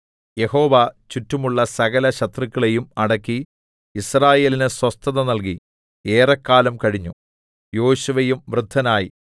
യഹോവ ചുറ്റുമുള്ള സകലശത്രുക്കളെയും അടക്കി യിസ്രായേലിന് സ്വസ്ഥത നല്കി ഏറെക്കാലം കഴിഞ്ഞു യോശുവയും വൃദ്ധനായി